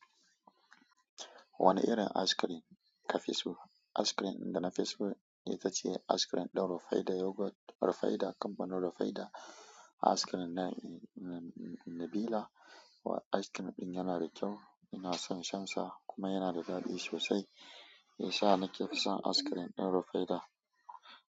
Wani irin askirim ka fi so? Askirim dana fiso ita ce askirim ɗin Rufaidah Yogurt Rufaidah Company Rufaidah Askirim na, na Nabila. A ice cream ɗin yana da kyau, ina son shansa kuma yana da daɗi sosai. Sha nake fi son askrim ɗin Rufaidah.